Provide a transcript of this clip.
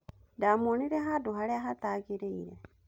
Ndamuonire handũ harĩa hatagĩrĩire.